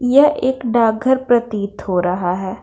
यह एक डाक घर प्रतीत हो रहा हैं।